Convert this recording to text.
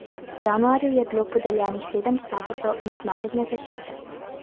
V januarju je bilo podeljenih sedem statusov mednarodne zaščite.